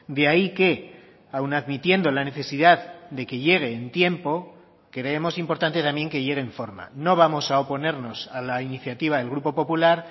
de ahí que aun admitiendo la necesidad de que llegue en tiempo creemos importante también que llegue en forma no vamos a oponernos a la iniciativa del grupo popular